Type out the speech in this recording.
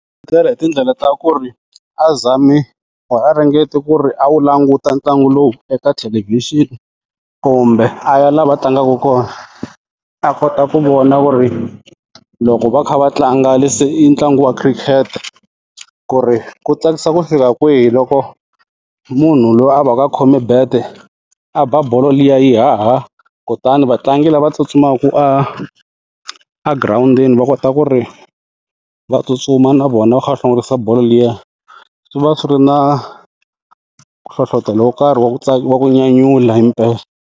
Etlela hi tindlela ta ku ri a zami or a ringeti ku ri a wu languta ntlangu lowu eka thelevhixini kumbe a ya la va tlangaka kona a kota ku vona ku ri loko va kha va tlanga ntlangu wa cricket ku ri ku tsakisa ku fika kwihi loko munhu loyi a va ka khome bat a ba bolo liya yi haha kutani vatlangi lava tsutsumaku a a girawundini va kota ku ri va tsutsuma na vona va kha va hlongorisa bolo liya swi va swi ri na hlohlotelo wo karhi wa ku wa ku nyanyula hi mpela.